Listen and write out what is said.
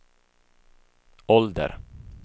ålder